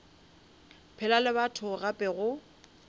phela le batho gape go